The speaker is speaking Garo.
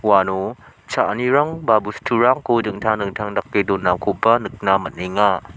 uano cha·anirang ba bosturangko dingtang dingtang dake donakoba nikna man·enga.